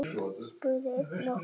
spurði einn okkar.